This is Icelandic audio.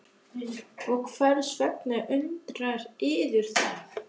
Og hvers vegna undrar yður það?